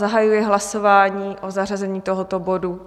Zahajuji hlasování o zařazení tohoto bodu.